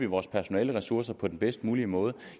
vores personaleressourcer på den bedst mulige måde